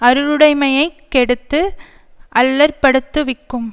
அருளுடைமையைக் கெடுத்து அல்லற்படுத்துவிக்கும்